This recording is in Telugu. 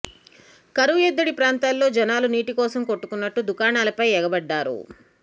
కరువు ఎద్దడి ప్రాంతాల్లో జనాలు నీటి కోసం కొట్టుకున్నట్టు దుకాణాలపై ఎగబడ్డారు